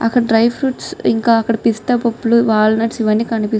ఇక్కడ డ్రై పెఇసుస్ ఉన్నాయ్ పిస్తా కూడా ఉననీ.